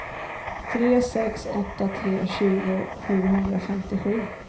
tre sex åtta tre tjugo sjuhundrafemtiosju